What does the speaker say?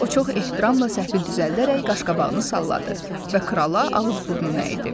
O çox ehtiramla səhvi düzəldərək qaşqabağını salladı və krala ağız-burnu əydi.